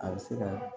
A bɛ se ka